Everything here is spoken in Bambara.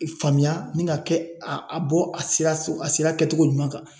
I faamuya ni ka kɛ a bɔ a sira a sera kɛtogo ɲuman kan